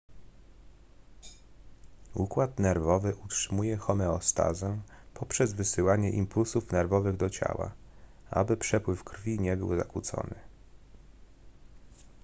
układ nerwowy utrzymuje homeostazę poprzez wysyłanie impulsów nerwowych do ciała aby przepływ krwi nie był zakłócony